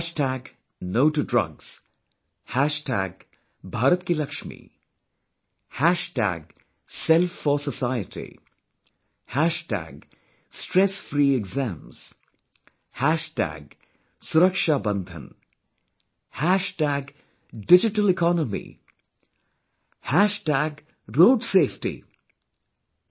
'No to Drugs', 'Bharat Ki Lakshmi', 'Self for Society', 'Stress free Exams', 'Suraksha Bandhan' 'Digital Economy', 'Road Safety'...